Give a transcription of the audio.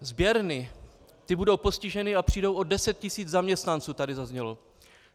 Sběrny, ty budou postiženy a přijdou o deset tisíc zaměstnanců, tady zaznělo.